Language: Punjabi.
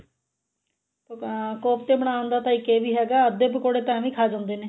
ਅਹ ਕੋਫਤੇ ਬਣਾਉਣ ਦਾ ਤਾਂ ਇੱਕ ਇਹ ਵੀ ਹੈਗਾ ਅੱਧੇ ਪਕੋੜੇ ਤਾਂ ਏਵੀਂ ਖਾ ਜਾਂਦੇ ਨੇ